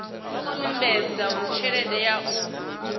sumbedza uri tshelede ya u